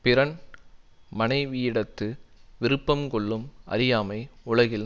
பிறன் மனைவியிடத்து விருப்பம் கொள்ளும் அறியாமை உலகில்